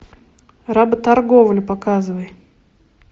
работорговля показывай